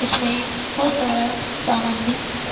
इसमें बहुत सारा समान भी है।